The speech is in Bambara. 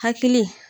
Hakili